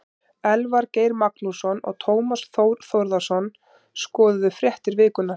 Elvar Geir Magnússon og Tómas Þór Þórðarson skoðuðu fréttir vikunnar.